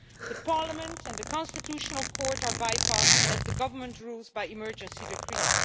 The parliament and the constitutional court are bypassed as the government rules by emergency decrees.